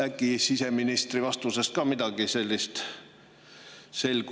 Äkki selgus siseministri vastusest midagi sellist?